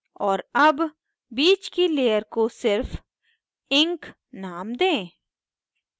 और अब बीच की layer को सिर्फ ink name दें